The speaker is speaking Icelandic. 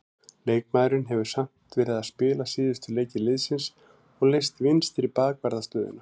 Leikmaðurinn hefur samt verið að spila síðustu leiki liðsins og leyst vinstri bakvarðarstöðuna.